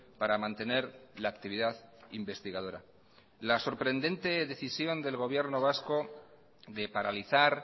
para mantener la actividad investigadora la sorprendente decisión del gobierno vasco de paralizar